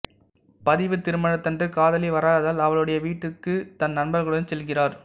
பதிவு திருமணத்தன்று காதலி வராததால் அவளுடைய வீட்டுக்குத் தன் நண்பர்களுடன் செல்கிறார்